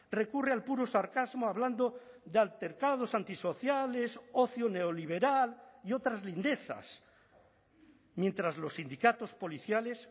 recurre al puro sarcasmo hablando de altercados antisociales ocio neoliberal y otras lindezas mientras los sindicatos policiales